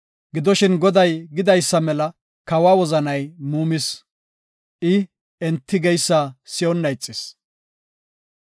Gidoshin Goday gidaysa mela kawa wozanay muumis. I enti geysa si7onna ixis.